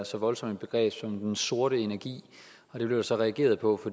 så voldsomt begreb som den sorte energi det blev der så reageret på